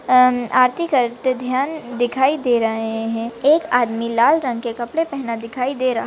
न अम आरती करते ध्यान दिखाई दे रहे है हुम एक आदमी लाल रंग के कपडे पेहना दिखाई दे रहा --